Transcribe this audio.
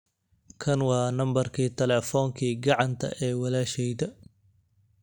kan waa nambarka telefonkii gacanta ee walasheyda